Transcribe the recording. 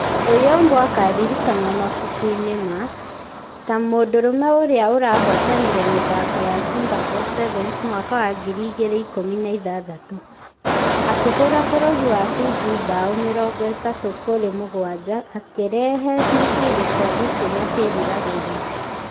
Ayombo akaririkanwo mabuku-inĩ ma .....ta mũndũrume ũrĩa ũrahotanire mĩthako ya singapore sevens mwaka wa ngiri igĩrĩ na ikũmi na ithathatũ . Akĩhũra bũrũri wa fiji bao mĩrongo ĩtatũ kũrĩ mũgwaja akĩrehe mũciĩ gĩkobe kĩrĩa kĩriragĩrio.